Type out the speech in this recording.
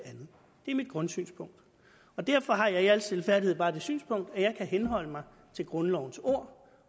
er mit grundsynpunkt og derfor har jeg i al stilfærdighed bare det synspunkt at jeg kan henholde mig til grundlovens ord